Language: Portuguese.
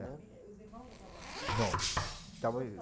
os irmãos já estavam aqui? Não, estavam